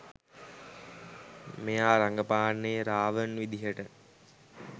මෙයා රඟපාන්නේ රාවන් විදියට.